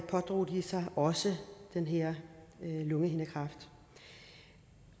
pådrog de sig også den her lungehindekræft